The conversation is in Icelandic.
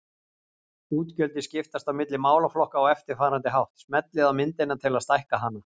Útgjöldin skiptast á milli málaflokka á eftirfarandi hátt: Smellið á myndina til að stækka hana.